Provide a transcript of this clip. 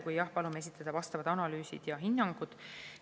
Kui jah, palume esitada vastavad analüüsid ja hinnangud.